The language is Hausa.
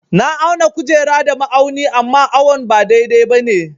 Na auna kujera da ma'auni amma awon ba dai-dai ba ne.